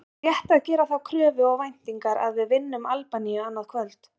Er rétt að gera þá kröfu og væntingar að við vinnum Albaníu annað kvöld?